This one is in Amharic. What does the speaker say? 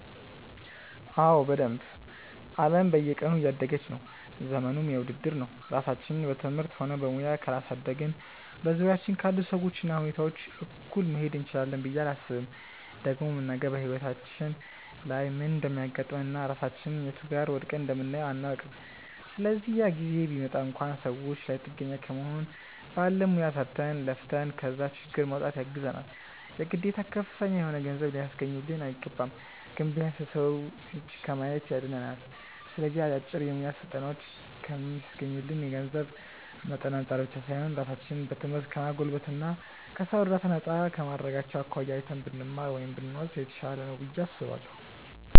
አዎ በደንብ። አለም በየቀኑ እያደገች ነው፤ ዘመኑም የውድድር ነው። ራሳችንን በትምህርትም ሆነ በሙያ ካላሳደግን በዙሪያችን ካሉ ሰዎች እና ሁኔታዎች እኩል መሄድ እንችላለን ብዬ አላስብም። ደግሞም ነገ በህይወታችን ላይ ምን እንደሚያጋጥመን እና ራሳችንን የቱ ጋር ወድቀን እንደምናየው አናውቅም። ስለዚህ ያ ጊዜ ቢመጣ እንኳን ሰዎች ላይ ጥገኛ ከመሆን ባለን ሙያ ሰርተን፣ ለፍተን ከዛ ችግር ለመውጣት ያግዘናል። የግዴታ ከፍተኛ የሆነ ገንዘብ ሊያስገኙልን አይገባም። ግን ቢያንስ የሰው እጅ ከማየት ያድነናል። ስለዚህ አጫጭር የሙያ ስልጠናዎችን ከሚስገኙልን የገንዘብ መጠን አንፃር ብቻ ሳይሆን ራሳችንን በትምህርት ከማጎልበት እና ከሰው እርዳታ ነፃ ከማድረጋቸው አኳያ አይተን ብንማር (ብንወስድ) የተሻለ ነው ብዬ አስባለሁ።